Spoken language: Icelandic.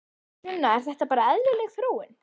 Sunna: Er þetta bara eðlileg þróun?